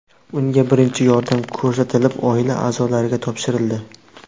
Unga birinchi yordam ko‘rsatilib, oila a’zolariga topshirildi.